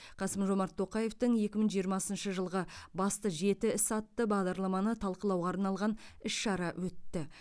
қасым жомарт тоқаевтың екі мың жиырмасыншы жылғы басты жеті ісі атты бағдарламаны талқылауға арналған іс шара өтті